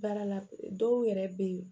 Baara la dɔw yɛrɛ bɛ yen